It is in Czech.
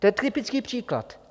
To je typický příklad.